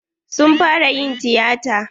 Sun fara yin tiyata.